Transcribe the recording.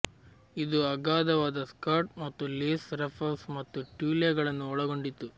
ಇದು ಅಗಾಧವಾದ ಸ್ಕರ್ಟ್ ಮತ್ತು ಲೇಸ್ ರಫಲ್ಸ್ ಮತ್ತು ಟ್ಯೂಲೆಗಳನ್ನು ಒಳಗೊಂಡಿತ್ತು